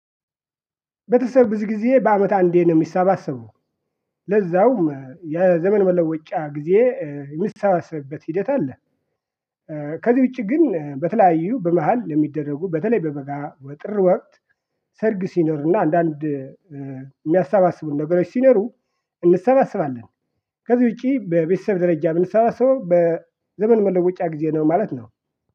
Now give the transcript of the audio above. ቤተሰብ ብዙ ጊዜ በአመት አንዴ ነው የሚሰባሰበው ለዛውም የዘመን መለወጫ ጊዜ የሚሰባሰብበት ሂደት አለ። ከዚህ ውጪ ግን በተለያዩ በመሃል ለሚደረጉ በተለይ በበጋ በጥር ወቅት ሰርግ ሲኖርና አንዳንድ የሚያሰባስቡን ነበረች ሲኖሩ እንሰባሰባለን። ከዚህ ውጪ በቤተሰብ ደረጃ የምንሰባሰበው በዘመን መለወጫ ጊዜ ነው ማለት ነው።